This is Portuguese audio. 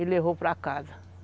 E levou para casa.